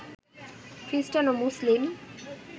খ্রিষ্টান ও মুসলিম